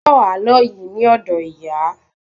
Mo gbọ àlọ yìí ni odo ìyà